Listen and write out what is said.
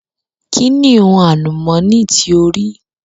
Kí ni hun àlùmọ̀ní tí o rí?